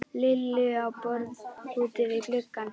Lillu á borð úti við gluggann.